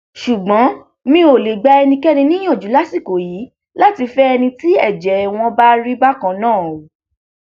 ṣùgbọn mi ò lè gba ẹnikẹni níyànjú lásìkò yìí láti fẹ ẹni tí ẹjẹ wọn bá rí bákan náà o